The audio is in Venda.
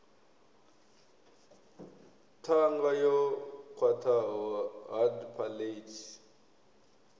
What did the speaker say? ṱhanga yo khwaṱhaho hard palate